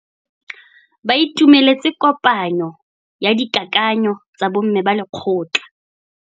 Ba itumeletse kôpanyo ya dikakanyô tsa bo mme ba lekgotla.